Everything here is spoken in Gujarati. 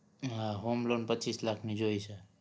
હા homeloan પચ્ચીસ લાખની જોઈ છે